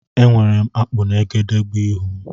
Enwere m akpụ na egedegeihū m.